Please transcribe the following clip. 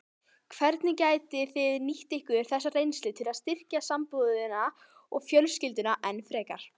Hvernig getið þið nýtt ykkur þessa reynslu til að styrkja sambúðina og fjölskylduna enn frekar?